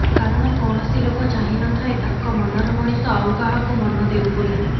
କାରଣ କୌଣସି ଲୋକ ଚାହିଁନଥାଏ ତାଙ୍କ ମନର ମଣିଷ ଆଉ କାହାକୂ ମନ ଦେଉ ବୋଲି